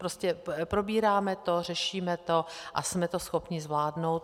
Prostě probíráme to, řešíme to a jsme to schopni zvládnout.